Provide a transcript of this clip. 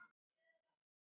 Samt vorum við þarna komnar.